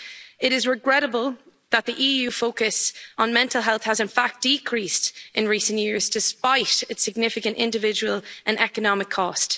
It is regrettable that the EU focus on mental health has, in fact, lessened in recent years, despite its significant individual and economic cost.